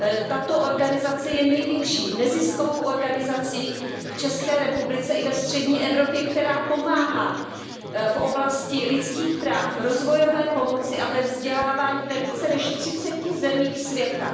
Tato organizace je největší neziskovou organizací v České republice i ve střední Evropě, která pomáhá v oblasti lidských práv, rozvojové pomoci a ve vzdělávání ve více než třiceti zemích světa.